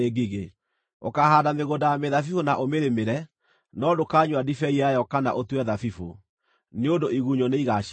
Ũkaahaanda mĩgũnda ya mĩthabibũ na ũmĩrĩmĩre, no ndũkanyua ndibei yayo kana ũtue thabibũ, nĩ ũndũ igunyũ nĩigacirĩa.